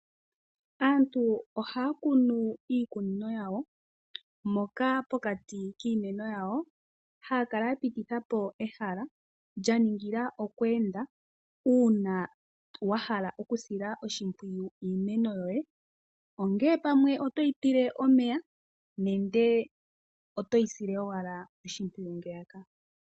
Aantu ohaya kunu miikunino yawo moka pokati kiimeno haya kala ya pititha po ehala lya ningila oku enda uuna wa hala okusila iimeno yoye oshimpwiyu. Ongele pamwe oto yi tekele nenge oto yi sile owala oshimpwiyu momumbwalangandjo.